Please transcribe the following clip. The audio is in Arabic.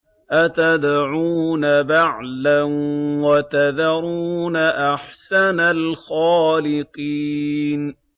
أَتَدْعُونَ بَعْلًا وَتَذَرُونَ أَحْسَنَ الْخَالِقِينَ